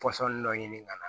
Pɔsɔn dɔ ɲini ka na